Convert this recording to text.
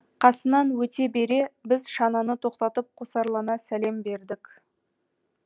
қасынан өте бере біз шананы тоқтатып қосарлана сәлем бердік